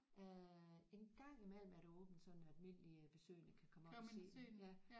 Øh en gang imellem er der åbent sådan at almindelige besøgende kan komme op og se den